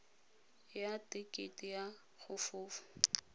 ya tekete ya go fofa